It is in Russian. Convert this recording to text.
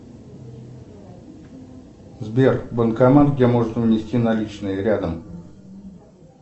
сбер банкомат где можно внести наличные рядом